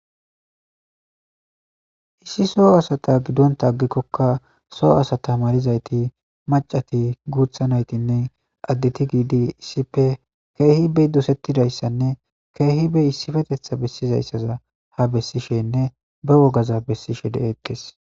Issi soho asata gidonka agikoka soon asata malizayti mac'ati guutha naytinne addeti gidi issippe keehi be dosetizaysanne keehi issippethaza ha besishenne be wogaza besishe de'etees.